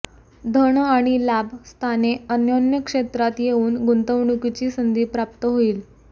धन आणि लाभ स्थाने अन्योन्य क्षेत्रात येऊन गुंतवणुकीची संधी प्राप्त होईल